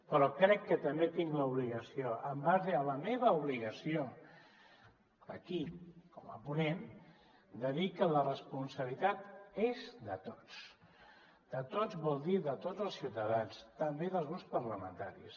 però crec que també tinc l’obligació en base a la meva obligació aquí com a ponent de dir que la responsabilitat és de tots de tots vol dir de tots els ciutadans també dels grups parlamentaris